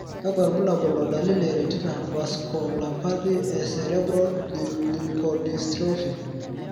kakwa irbulabol o dalili e Retina vasculopathy e cerebral leukodystrophy?